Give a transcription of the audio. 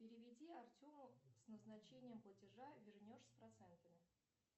переведи артему с назначением платежа вернешь с процентами